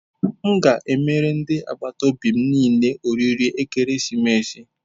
M ga emere ndi agbataobi m niile oriri ekeresimesi.